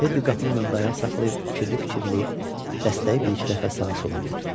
Teddi qapının önündə ayaq saxlayıb fikirli-fikirli dəstəyi bir-iki dəfə sağa-sola burdu.